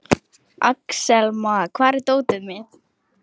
Axelma, hvar er dótið mitt?